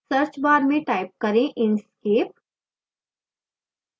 search bar में type करें inkscape